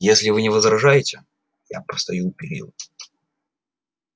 если вы не возражаете я постою у перил